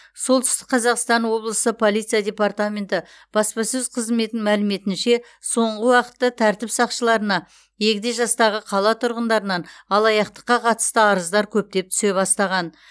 солтүстік қазақстан облысы полиция департаменті баспасөз қызметінің мәліметінше соңғы уақытта тәртіп сақшыларына егде жастағы қала тұрғындарынан алаяқтыққа қатысты арыздар көптеп түсе бастаған